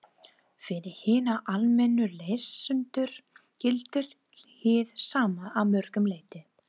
Fyrir hina almennu lesendur gildir hið sama að mörgu leyti.